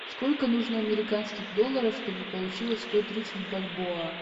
сколько нужно американских долларов чтобы получилось сто тридцать бальбоа